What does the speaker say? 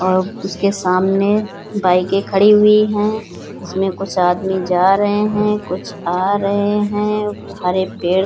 और उसके सामने बाइकें खड़ी हुई है। उसमें कुछ आदमी जा रहे हैं कुछ आ रहे हैं। हरे पेड़ --